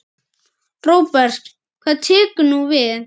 Róbert: Hvað tekur nú við?